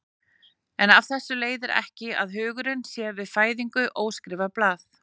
En af þessu leiðir ekki að hugurinn sé við fæðingu óskrifað blað.